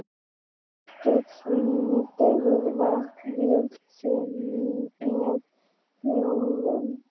Keldusvín gerir vart við sig með hljóðum.